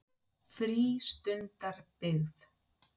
Málið var upplýst á staðnum.